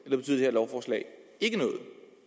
lovforslag ikke noget